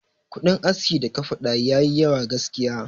Kudin aski da ka faɗa yayi yawa gaskiya.